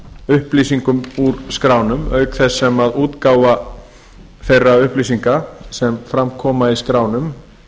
upplýsingum úr skránum auk þess sem útgáfa þeirra upplýsinga sem fram koma í skránum